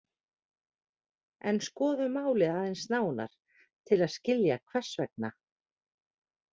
En skoðum málið aðeins nánar til að skilja hvers vegna.